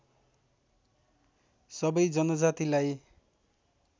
सबै जनजातिलाई